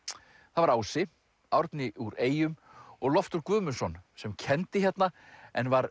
það var Ási Árni úr eyjum og Loftur Guðmundsson sem kenndi hérna en var